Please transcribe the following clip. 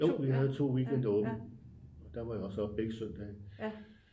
Jo vi havde to weekender åbent og der var jeg også oppe begge søndage